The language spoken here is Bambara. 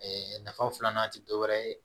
nafa filanan tɛ dɔ wɛrɛ ye